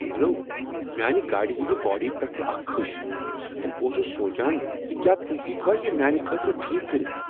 Hello ! میانہِ گاڑِ ہٕنز باڑی پؠٹھ چھ اکھ کِھش، تہٕ بہٕ اوسُس سونٛچان ز کیا تہۍ ہؠکو یہ میانہ خٲطرٕ ٹھیک کٔرتھ۔